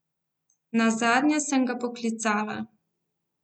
Nazadnje sem ga poklicala.